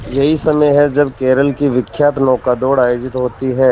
यही समय है जब केरल की विख्यात नौका दौड़ आयोजित होती है